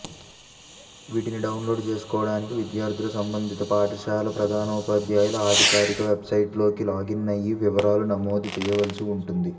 వీటిని డౌన్లోడ్ చేసుకునేందుకు విద్యార్థులు సంబంధిత పాఠశాలల ప్రధానోపాద్యాయులు అధికారిక వెబ్సైట్లోకి లాగిన్ అయి వివరాలు నమోదు చేయాల్సి ఉంటుంది